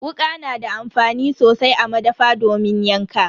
Wuka na da amfani sosai a madafa domin yanka.